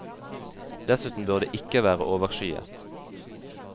Dessuten bør det ikke være overskyet.